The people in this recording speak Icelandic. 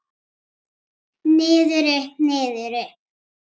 Niður, upp, niður upp.